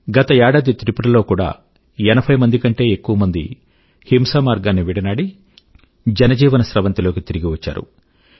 గత ఏడాది త్రిపుర లో కూడా ఎనభై కంటే ఎక్కువ మంది హింసామార్గాన్ని విడనాడి జనజీవన స్రవంతి లోకి తిరిగి వచ్చారు